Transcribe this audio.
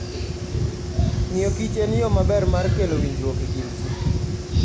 Ng'iyo kich en yo maber mar kelo winjruok e kind ji.